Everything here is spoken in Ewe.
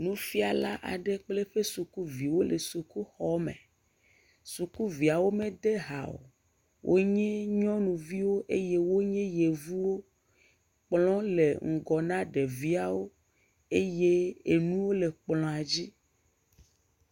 Nufiala aɖe kple eƒe sukuviwo le sukuxɔme. Sukuviawo mede ha o. wonye nyɔnuviwo eye wonye yevuwo. Kplɔ le ŋgɔ na ɖeviawo eye enuwo le kplɔa dzi.